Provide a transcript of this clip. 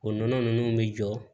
O nɔnɔ ninnu bɛ jɔ